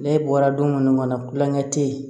Ne bɔra don mun kɔnɔ kulonkɛ te yen